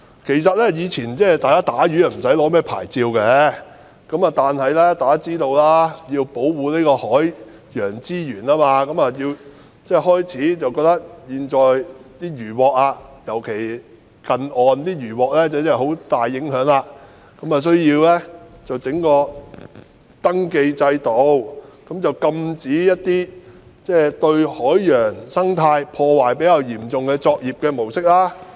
其實，以前捕魚無須申領牌照，但大家也知道，由於要保護海洋資源，尤其是在近岸取得的漁穫對海洋有很大的影響，因此便設立登記制度，禁止一些對海洋生態破壞比較嚴重的作業模式。